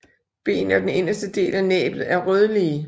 Ben og den inderste del af næbbet er rødlige